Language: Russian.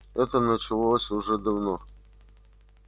это началось уже давно